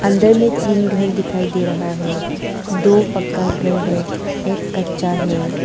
अंदर में तीन घर दिखाई दे रहा है दो पक्का घर है एक कच्चा है।